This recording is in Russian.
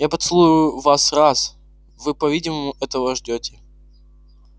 я поцелую вас раз вы по-видимому этого ждёте